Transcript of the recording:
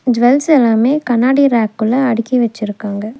Jewels எல்லாமே கண்ணாடி ரேக்குள்ள அடிக்கி வெச்சுருக்காங்க.